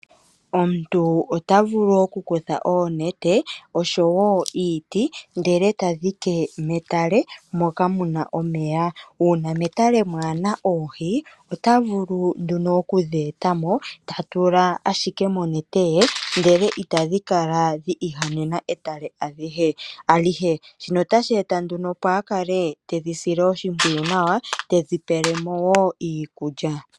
Omuntu ota vulu okukutha oonete oshowo iiti ndele e ta dhike metale moka mu na omeya. Uuna metale mwaa na oohi, ota vulu nduno okudhi eta mo ta tula ashike monete ye, ihe itadhi kala dhi ihanena etale alihe. Shino otashi eta opo a kale tedhi sile oshimpwiyu nawa tedhi pele mo wo iikulya.